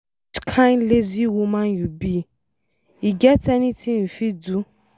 Which kin lazy woman you be, e get anything you fit do?